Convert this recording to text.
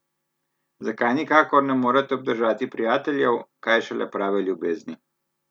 Zakaj nikakor ne morete obdržati prijateljev, kaj šele prave ljubezni?